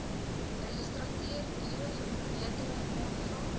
registrateur diereverbetering aanvra